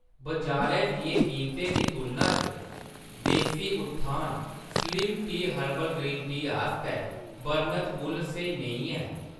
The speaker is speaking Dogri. बजारै दियें कीमतें दी तुलना च देसी उत्थान स्लिम चाह् हर्बल ग्रीन टी आस्तै बर्णत मुल्ल स्हेई नेईं ऐ।